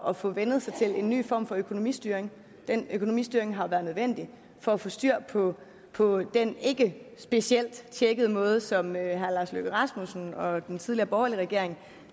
at få vænnet sig til en ny form for økonomistyring den økonomistyring har været nødvendig for at få styr på på den ikke specielt tjekkede måde som herre lars løkke rasmussen og den tidligere borgerlige regering